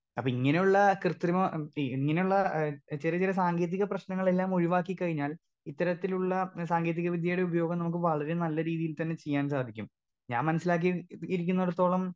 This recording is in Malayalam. സ്പീക്കർ 2 അപ്പൊ ഇങ്ങനെയുള്ള കൃത്രിമം ഈ ഇങ്ങനെയുള്ള ഏ ചെറിയ ചെറിയ സാങ്കേതിക പ്രശ്നങ്ങളെല്ലാം ഒഴിവാക്കി കഴിഞ്ഞാൽ ഇത്തരത്തിലുള്ള ഏ സാങ്കേതിക വിദ്യയുടെ ഉപയോഗം നമുക്ക് വളരെ നല്ല രീതീൽ തന്നെ ചീയ്യാൻ സാധിക്കും ഞാൻ മനസ്സിലാക്കി ഇരിക്കുന്നിടത്തോളം.